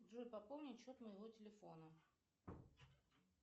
джой пополни счет моего телефона